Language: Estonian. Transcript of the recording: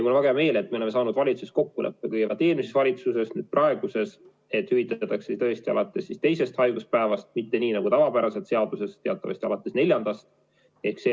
Mul on väga hea meel, et me oleme saanud valitsuses kokkuleppe, kõigepealt eelmises valitsuses ja nüüd praeguses, et hüvitatakse alates teisest haiguspäevast, mitte nii nagu tavapäraselt seaduse järgi, teatavasti alates neljandast päevast.